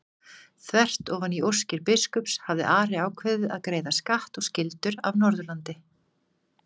Þvert ofan í óskir biskups hafði Ari ákveðið að greiða skatt og skyldur af Norðurlandi.